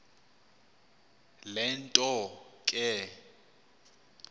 le nto ke